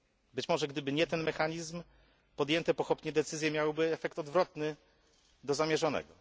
Być może gdyby nie ten mechanizm, podjęte pochopnie decyzje miałyby efekt odwrotny do zamierzonego.